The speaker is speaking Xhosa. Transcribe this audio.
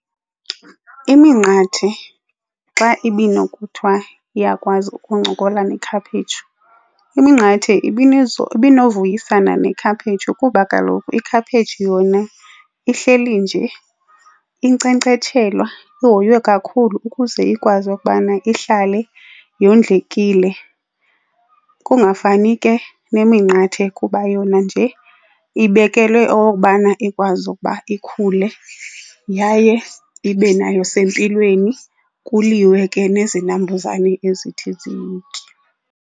Iminqathe xa ibinokuthiwa iyakwazi ukuncokola nekhaphetshu, iminqathe ibinovuyisana nekhaphetshu kuba kaloku ikhaphetshu yona ihleli nje inkcenkcetshelwa ihoywe kakhulu ukuze ikwazi ukubana ihlale yondlekile. Kungafani ke neminqathe kuba yona nje ibekelwe okokubana ikwazi ukuba ikhule yaye ibe nayo sempilweni, kuliwe ke nezinambuzane ezithi ziyitye.